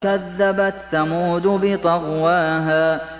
كَذَّبَتْ ثَمُودُ بِطَغْوَاهَا